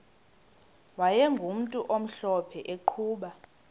wayegumntu omhlophe eqhuba